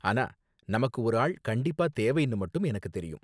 ஆனா, நமக்கு ஒரு ஆள் கண்டிப்பா தேவைனு மட்டும் எனக்கு தெரியும்.